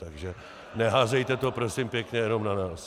Takže neházejte to prosím pěkně jenom na nás.